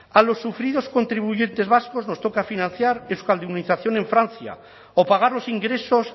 a los sufridos contribuyentes vascos nos toca financiar euskaldunización en francia o pagar los ingresos